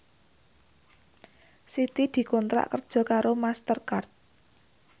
Siti dikontrak kerja karo Master Card